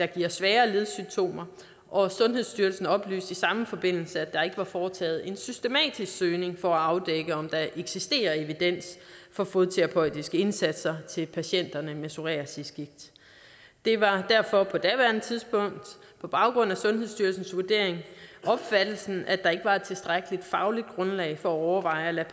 giver svære ledsymptomer og sundhedsstyrelsen oplyste i samme forbindelse at der ikke var foretaget en systematisk søgning for at afdække om der eksisterer evidens for fodterapeutiske indsatser til patienterne med psoriasisgigt det var derfor på daværende tidspunkt på baggrund af sundhedsstyrelsens vurdering opfattelsen at der ikke var et tilstrækkeligt fagligt grundlag for at overveje at lade